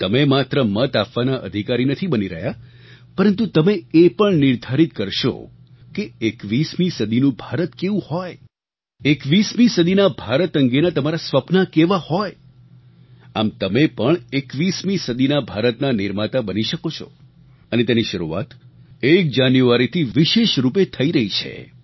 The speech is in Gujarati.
તમે માત્ર મત આપવાના અધિકારી નથી બની રહ્યા પરંતુ તમે એ પણ નિર્ધારિત કરશો કે 21મી સદીનું ભારત કેવું હોય 21મી સદીના ભારત અંગેનાં તમારાં સપનાં કેવાં હોય આમ તમે પણ 21મી સદીના ભારતના નિર્માતા બની શકો છો અને તેની શરૂઆત એક જાન્યુઆરીથી વિશેષ રૂપે થઈ રહી છે